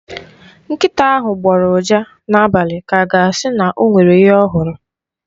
Nkịta ahụ gbọrọ ụja n'abalị ka a ga-asị na o nwere ihe ọ hụrụ.